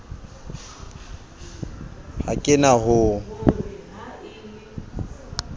ha ke na ho o